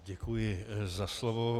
Děkuji za slovo.